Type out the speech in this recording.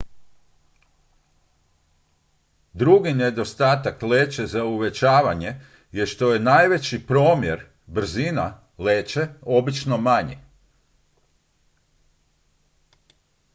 drugi nedostatak leće za uvećavanje je što je najveći promjer brzina leće obično manji